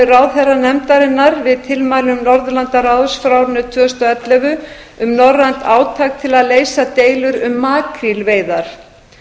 ráðherranefndarinnar við tilmælum norðurlandaráðs frá árinu tvö þúsund og ellefu um norrænt átak til að leysa deilur um makrílveiðar